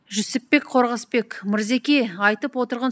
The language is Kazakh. жүсіпбек қорғасбек мырзеке айтып отырған